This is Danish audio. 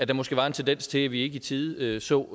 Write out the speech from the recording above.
der måske var en tendens til at vi ikke i tide så